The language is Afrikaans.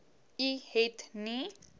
u het nie